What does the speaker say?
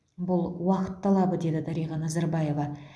бұл уақыт талабы деді дариға назарбаева